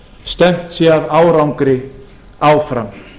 stefnt sé að árangri áfram